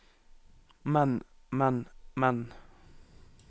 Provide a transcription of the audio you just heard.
men men men